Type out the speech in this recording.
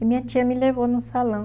E minha tia me levou num salão.